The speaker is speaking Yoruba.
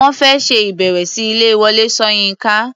Wọ́n fẹ́ ṣe ìbẹ̀wò sí ilé Wọlé Ṣóyínká.